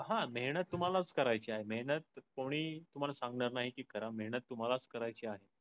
हा मेहनत तुम्हालाच करायची आहे. मेहनत कोणी तुम्हाला सांगणार नाही ती करा. मेहनत तुम्हालाच करायची आहे.